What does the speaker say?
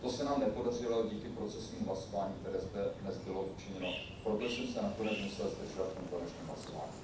To se nám nepodařilo díky procesnímu hlasování, které zde dnes bylo učiněno, proto jsem se musel zdržet v tom konečném hlasování.